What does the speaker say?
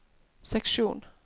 seksjon